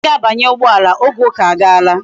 Anyi ga abanye ugboala, oge uka aga laa